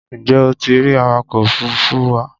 Ǹjẹ́ o ti rí awakọ̀ òfuruufú wa?